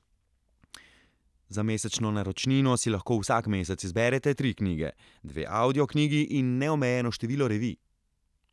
Za mesečno naročnino si lahko vsak mesec izberete tri knjige, dve audio knjigi in neomejeno število revij.